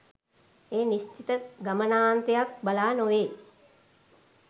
ඒ නිශ්චිත ගමනාන්තයක් බලා නොවේ.